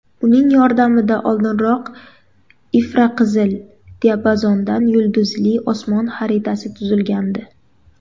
Uning yordamida oldinroq infraqizil diapazonda yulduzli osmon xaritasi tuzilgandi.